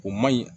O man ɲi